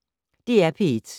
DR P1